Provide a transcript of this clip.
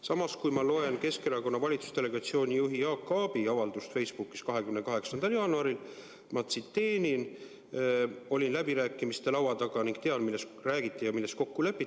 Samas loen ma Keskerakonna valitsusdelegatsiooni juhi Jaak Aabi 28. jaanuari avaldust Facebookis, ma tsiteerin: "Olin läbirääkimiste laua taga ning tean, millest räägiti ja milles kokku lepiti.